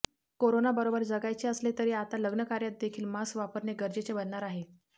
कोरोनाबरोबर जगायचे असले तरी आता लग्नकार्यात देखील मास्क वापरणे गरजेचे बनणार आहे